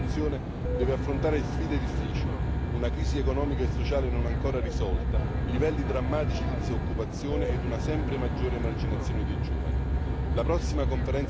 Lo spazio europeo dell'istruzione deve affrontare sfide difficili una crisi economica e sociale non ancora risolta, livelli drammatici di disoccupazione e una sempre maggiore emarginazione dei giovani.